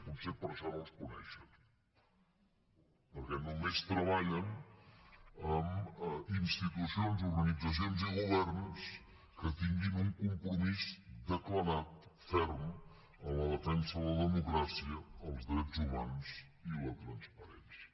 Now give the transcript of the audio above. potser per això no els coneixen perquè només treballen amb institucions organitzacions i governs que tinguin un compromís declarat ferm amb la defensa de la democràcia els drets humans i la transparència